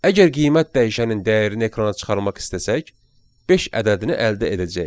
Əgər qiymət dəyişənin dəyərini ekrana çıxarmaq istəsək, beş ədədini əldə edəcəyik.